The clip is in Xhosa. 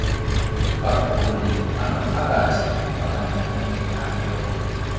baguquli bangaphakathi babandakanyekayo